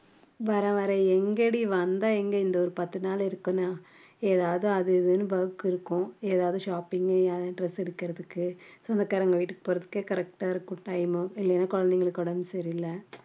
வர்றேன் வர்றேன் எங்கடி வந்தா எங்க இங்க ஒரு பத்து நாள் இருக்கணும் ஏதாவது அது இதுன்னு work இருக்கும் ஏதாவது shopping அஹ் dress எடுக்கறதுக்கு சொந்தக்காரங்க வீட்டுக்கு போறதுக்கே correct ஆ இருக்கும் time குழந்தைகளுக்கு உடம்பு சரியில்ல